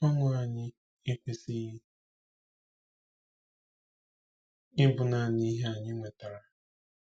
Ọṅụ anyị ekwesịghị ịbụ naanị ihe anyị nwetara.